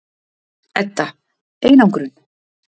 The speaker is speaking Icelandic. Edda: Einangrun?